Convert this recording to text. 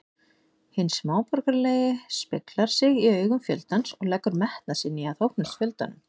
Hinn smáborgaralegi speglar sig í augum fjöldans og leggur metnað sinn í að þóknast fjöldanum.